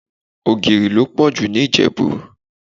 Ogìrì lo pọ̀jù ní Ìjẹ̀bú.